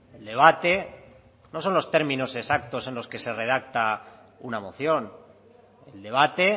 el debate no son los términos exactos en los que se redacta una moción el debate